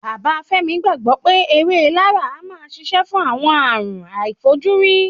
Bàbá Fẹ́mi gbàgbọ́ pé ewé laraa a máa ṣiṣẹ́ fún àwọn àrùn àìfojúrí